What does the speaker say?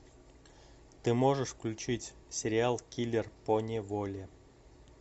ты можешь включить сериал киллер поневоле